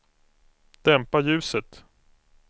dämpa ljuset